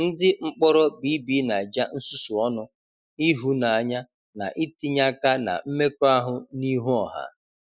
Ndị mkpọrọ BBNaija nsusu ọnụ, ihunanya na itinye aka na mmekọahụ n'ihu ọha.